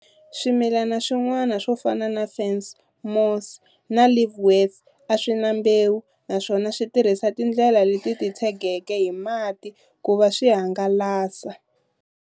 Swimilani swin'wana swofana na ferns, mosses na liverworts, aswina mbewu naswona switirhisa tindlela leti titshegeke hi mati kuva swi hangalasa.